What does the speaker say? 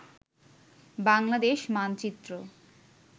Bangladesh মানচিএ